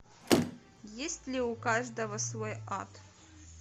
есть ли у каждого свой ад